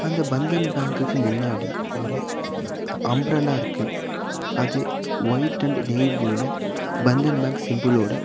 அந்த பந்தன் பேங்க் முன்னாடி ஒரு அம்ப்ரல்லா இருக்கு அது ஒயிட் அண்ட் நேவி ப்ளூல பந்தன் பேங்க் சிம்பிள்லோட --